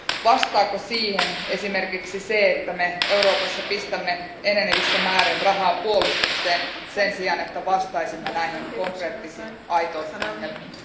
Vastaako siihen esimerkiksi se, että me Euroopassa pistämme enenevissä määrin rahaa puolustukseen sen sijaan, että vastaisimme näihin konkreettisiin, aitoihin ongelmiin?